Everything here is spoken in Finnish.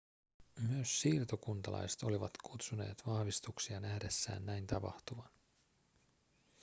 myös siirtokuntalaiset olivat kutsuneet vahvistuksia nähdessään näin tapahtuvan